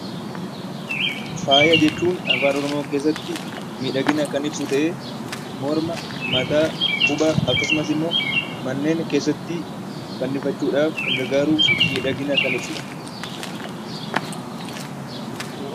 Faaya jechuun Afaan Oromoo keessatti miidhagina kan ibsu ta'ee morma, mataa, quba akkasumas immoo manneen keessatti fannifachuudhaaf kan gargaaruu fi miidhagina kan ibsuu dha.